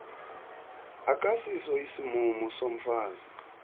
akasiso isimumu somfazi